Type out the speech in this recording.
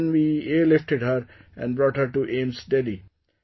Then we airlifted her and brought her to AIIMS Delhi